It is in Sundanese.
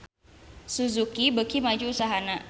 Suzuki beuki maju usahana